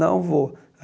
Não vou.